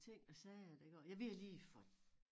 Ting og sager det går ja vi har lige fået